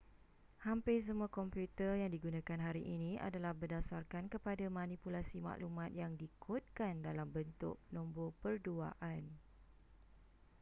hampir semua komputer yang digunakan hari ini adalah berdasarkan kepada manipulasi maklumat yang dikodkan dalam bentuk nombor perduaan